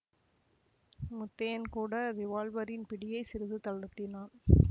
முத்தையன் கூட ரிவால்வரின் பிடியைச் சிறிது தளர்த்தினான்